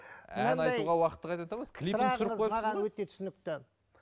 әнді айтуға уақытты қайдан табасыз өте түсінікті